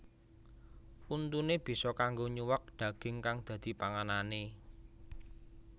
Untuné bisa kanggo nyuwèk daging kang dadi panganané